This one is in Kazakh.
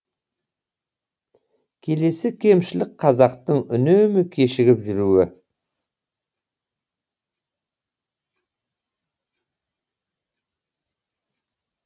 келесі кемшілік қазақтың үнемі кешігіп жүруі